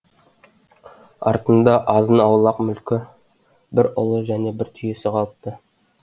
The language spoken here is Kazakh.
артында азын аулақ мүлкі бір ұлы және бір түйесі қалыпты